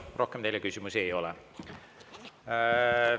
Rohkem teile küsimusi ei ole.